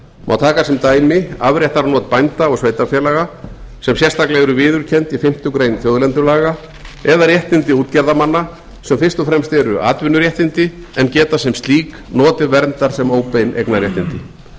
má taka sem dæmi afréttarnot bænda og sveitarfélaga sem sérstaklega eru viðurkennd í fimmtu grein þjóðlendulaga eða réttindi útgerðarmanna sem fyrst og fremst eru atvinnuréttindi en geta sem slík notið verndar sem óbein eignarréttindi þá